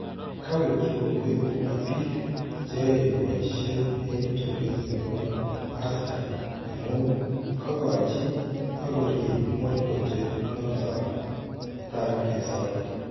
Kawekyii kongoi Cooper biik cheyae boyisyeet en tukeet nebo Asda amun kakochi ak koriib mororochet noto taar kesoor